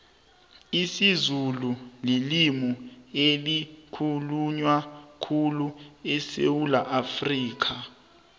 isizulu lilimu elikhulunywa khulu esewula afrikha